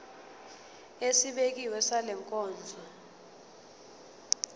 esibekiwe sale nkonzo